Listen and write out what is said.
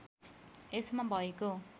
यसमा भएको